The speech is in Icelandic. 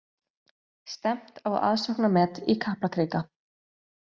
Stefnt á aðsóknarmet í Kaplakrika